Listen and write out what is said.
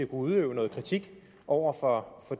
udøve noget kritik over for